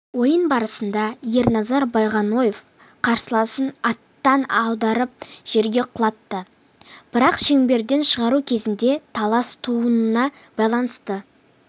ойын барысында ерназар байғоноев қарсыласын аттан аударып жерге құлатты бірақ шеңберден шығару кезінде талас тууына байланысты